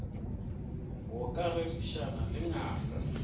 go ka rerišana le ngaka